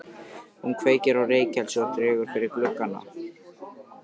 Hún kveikir á reykelsi og dregur fyrir gluggana.